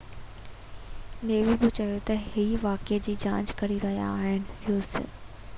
us navy بہ چيو تہ اهي واقعي جي جاچ ڪري رهيا آهن